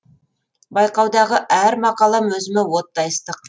байқаудағы әр мақалам өзіме оттай ыстық